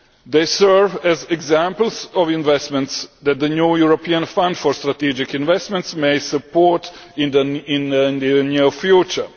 They serve as examples of investments that the new European Fund for Strategic Investments may support in the near future.